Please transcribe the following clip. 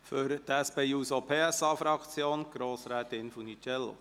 Für die SP-JUSO-PSA-Fraktion: Grossrätin Funiciello.